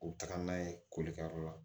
U bɛ taga n'a ye kolikɛyɔrɔ la